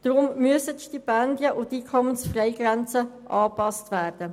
Deshalb müssen die Stipendien und die Einkommensfreigrenzen angepasst werden.